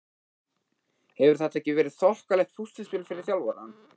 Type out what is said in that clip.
Hefur þetta ekki verið þokkalegt púsluspil fyrir þjálfarann?